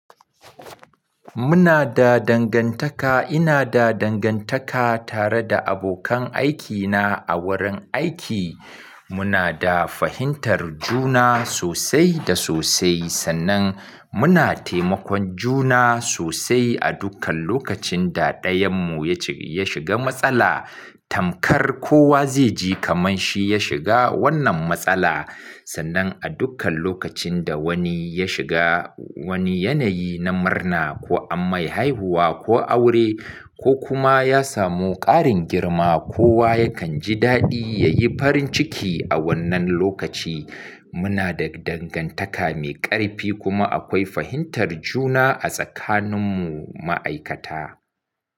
Muna da dangantaka, ina da dangantaka tare da abokan aikina a wurin aiki. Muna da fahimtar juna sosai da sosai sannan muna taimakon juna sosai a dukkan lokacin da ɗayanmu ya shiga matsala. Tamkar kowa zai ji kaman shi ya shiga wannan matsala. Sannan a dukkan lokacin da wani ya shiga wani yanayi na murna ko amma haihuwa ko aure ko kuma ya samu ƙarin girma, kowa yakan ji daɗi yayi farin ciki a wannan lokaci. Muna da dangantaka mai ƙarfi kuma akwai fahimtar juna a tsakaninmu ma'aikata.